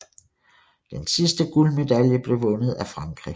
Den sidste guldmedalje blev vundet af Frankrig